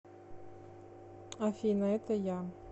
афина это я